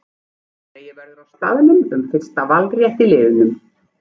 Dregið verður á staðnum um fyrsta valrétt á liðum.